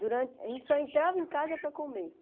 Durante a gente só entrava em casa para comer.